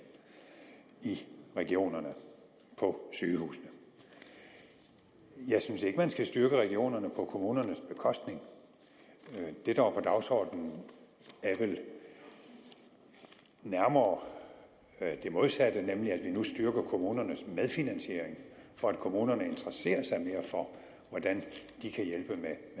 i regionerne på sygehusene jeg synes ikke at man skal styrke regionerne på kommunernes bekostning det der var på dagsordenen er vel nærmere det modsatte nemlig at vi nu styrker kommunernes medfinansiering for at kommunerne interesserer sig mere for hvordan de kan hjælpe med